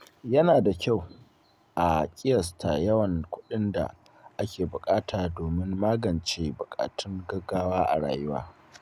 Yana da kyau a ƙiyasta yawan kuɗin da ake buƙata domin magance buƙatun gaugawa a rayuwa.